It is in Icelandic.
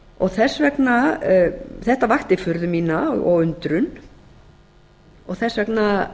við hana þetta vakti furðu mína og undrun og þess vegna